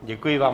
Děkuji vám.